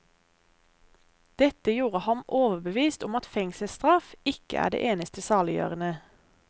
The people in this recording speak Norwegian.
Dette gjorde ham overbevist om at fengselsstraff ikke er det eneste saliggjørende.